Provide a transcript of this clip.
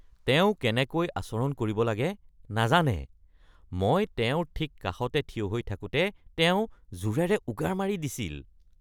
তেওঁ কেনেকৈ আচৰণ কৰিব লাগে নাজানে। মই তেওঁৰ ঠিক কাষতে থিয় হৈ থাকোঁতে তেওঁ জোৰেৰে উগাৰ মাৰি দিছিল।